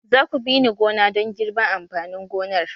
Za ku bi ni gona don girban amfanin gonar!